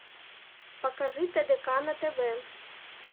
покажи тдк на тв